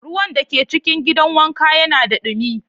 Ruwan da ke cikin gidan wanka yana da dumi.